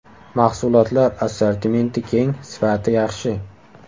Mahsulotlar assortimenti keng, sifati yaxshi.